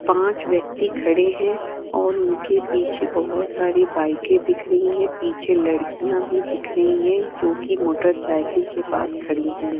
पांच व्यक्ति खड़े हैं और उनके पीछे बहोत सारी बाइके दिख रही हैं पीछे लड़कियां भी दिख रही हैं जो कि मोटर साइकिल के पास खड़ी हैं।